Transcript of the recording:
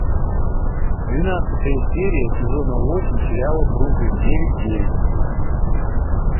двенадцатая серия сезона восемь сериала бруклин девять девять